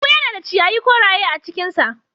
Lambu yana da ciyayi koraye a cinkinsa.